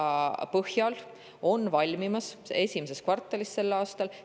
valmis esimeses kvartalis sel aastal.